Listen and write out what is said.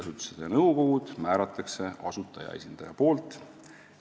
" Sihtasutuste nõukogud määratakse asutaja esindaja poolt.